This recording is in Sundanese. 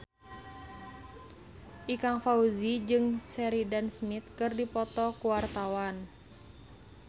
Ikang Fawzi jeung Sheridan Smith keur dipoto ku wartawan